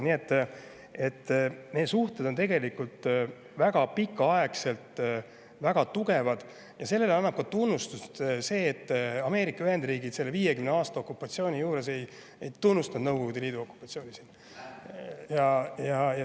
Nii et meie suhted on tegelikult väga pikaaegselt olnud väga tugevad ja sellele annab tunnustust ka see, et Ameerika Ühendriigid 50-aastase okupatsiooni vältel ei tunnustanud Nõukogude Liidu okupatsiooni siin.